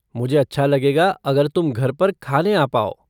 मुझे अच्छा लगेगा अगर तुम घर पर खाने आ पाओ।